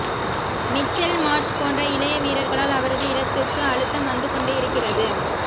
Mitchell Marsh போன்ற இளைய வீரர்களால் அவரது இடத்துக்கு அழுத்தம் வந்துகொண்டே இருக்கிறது